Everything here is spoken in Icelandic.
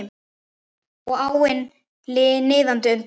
Og áin niðandi undir.